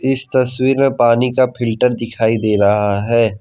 इस तस्वीर मे पानी का फिल्टर दिखाई दे रहा है।